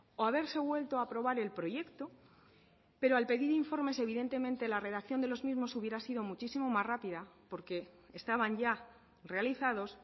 o haberse vuelto a aprobar el proyecto pero al pedir informes evidentemente la redacción de los mismos hubiera sido muchísimo más rápida porque estaban ya realizados